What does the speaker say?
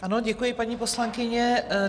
Ano, děkuji, paní poslankyně.